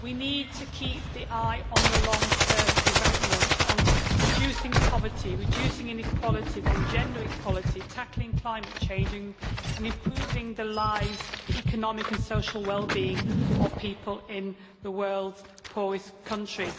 we need to keep an eye on long term development, on reducing poverty and reducing inequalities, on gender equality, tackling climate change and improving the lives and the economic and social well being of people in the world's poorest countries.